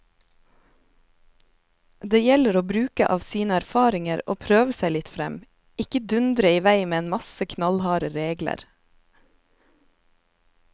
Det gjelder å bruke av sine erfaringer og prøve seg litt frem, ikke dundre i vei med en masse knallharde regler.